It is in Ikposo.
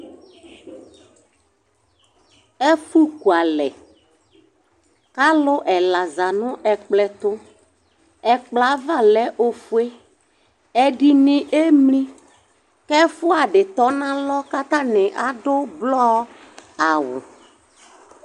Ɛfʋ kʋalɛ kʋ alʋ ɛla zanʋ ɛkplɔɛtʋ, ɛkplɔ yɛ ava lɛ ofue, ɛdini emli kʋ ɛfʋadí tɔnʋ alʋ kʋ atani adʋ ʋblɔ awʋ